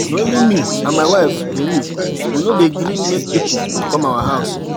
Na only me and my wife dey live, we no dey gree make pipu come our house.